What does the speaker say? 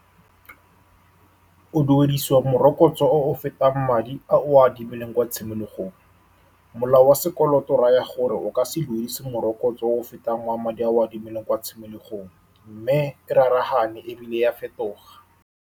O duedisiwa morokotso o o fetang madi a o a adimileng kwa tshimologong. Molao wa sekoloto o raya gore o ka se duedisiwe morokotso o o fetang wa madi a o a adimileng kwa tshimologong, mme e rarahane, ebile ya fetoga.